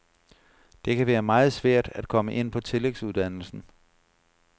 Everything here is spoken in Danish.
Det kan være meget svært at komme ind på tillægsuddannelsen.